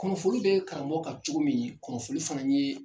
Kunnafoli bɛ karamɔgɔ kan cogo min kunnafoli fana ye